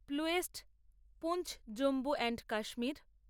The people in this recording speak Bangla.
প্লুয়েস্ট পুঞ্চ জম্মু এন্ড কাশ্মীর